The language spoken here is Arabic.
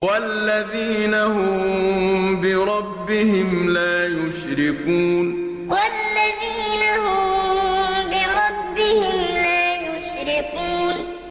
وَالَّذِينَ هُم بِرَبِّهِمْ لَا يُشْرِكُونَ وَالَّذِينَ هُم بِرَبِّهِمْ لَا يُشْرِكُونَ